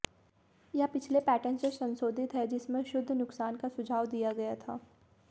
यह पिछले पैटर्न से संशोधित है जिसमें शुद्ध नुकसान का सुझाव दिया गया था